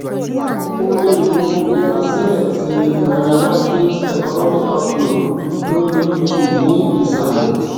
o lè wo ìgbàsílẹ ti nairametrics economic outlook lori youtube ni isàlẹ